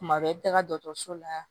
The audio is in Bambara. Kuma bɛɛ i bɛ taga dɔkɔtɔrɔso la